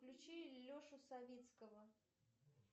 включи лешу савицкого